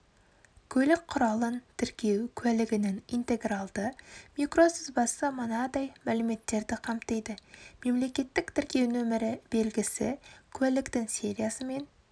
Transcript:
көлік құралын тіркеу куәлігінің интегралды микросызбасы мынадай мәліметтерді қамтиды мемлекеттік тіркеу нөмірі белгісі куәліктің сериясы мен